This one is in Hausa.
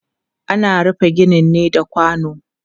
Ana rufe gini ne da kwano.